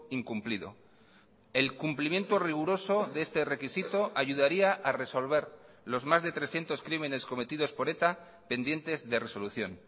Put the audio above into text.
incumplido el cumplimiento riguroso de este requisito ayudaría a resolver los más de trescientos crímenes cometidos por eta pendientes de resolución